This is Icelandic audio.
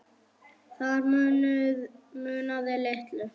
Þar munaði litlu.